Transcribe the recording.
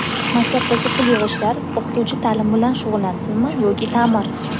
Maktabdagi pul yig‘ishlar: O‘qituvchi taʼlim bilan shug‘ullansinmi yoki taʼmir?.